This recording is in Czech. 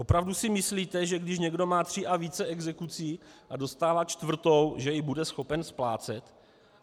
Opravdu si myslíte, že když někdo má tři a více exekucí a dostává čtvrtou, že ji bude schopen splácet?